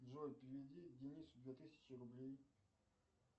джой переведи денису две тысячи рублей